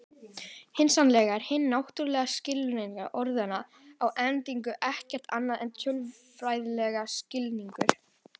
Hugsanlega er hinn náttúrulegi skilningur orðanna á endanum ekkert annað en tölfræðilegur skilningur.